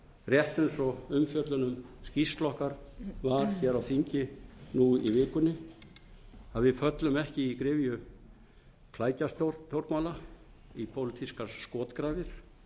rétt eins og umfjöllun um skýrslu okkar var hér á þingi nú í vikunni að við föllum ekki í gryfju klækjastjórnmála í pólitískar skotgrafir